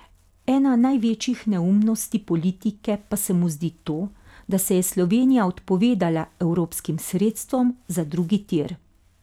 Ena največjih neumnosti politike pa se mu zdi to, da se je Slovenija odpovedala evropskim sredstvom za drugi tir.